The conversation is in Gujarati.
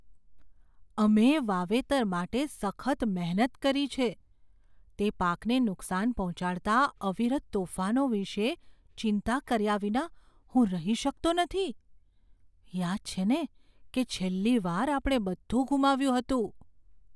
અમે વાવેતર માટે સખત મહેનત કરી છે તે પાકને નુકસાન પહોંચાડતા અવિરત તોફાનો વિષે ચિંતા કર્યા વિના હું રહી શકતો નથી. યાદ છે ને કે છેલ્લી વાર આપણે બધું ગુમાવ્યું હતું?